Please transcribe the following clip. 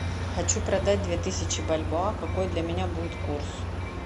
хочу продать две тысячи бальбоа какой для меня будет курс